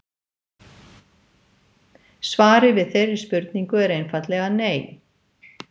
Svarið við þeirri spurningu er einfaldlega nei!